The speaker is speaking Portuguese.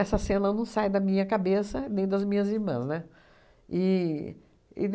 Essa cena não sai da minha cabeça nem das minhas irmãs, né? E e